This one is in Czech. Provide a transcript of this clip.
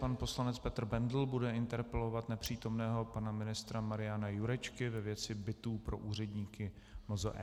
Pan poslanec Petr Bendl bude interpelovat nepřítomného pana ministra Mariana Jurečku ve věci bytů pro úředníky MZe.